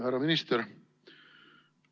Härra minister!